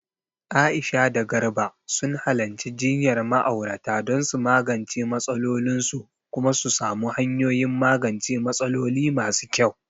Aisha da Garba sun halarci jinyar ma'aurata don su magance matsalolinsu kuma su samu hanyoyin magance matsaloli masu kyau.